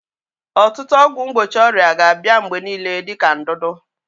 Ọtụtụ ọgwụ mgbochi ọrịa ga-abịa mgbe niile dị ka ndudu.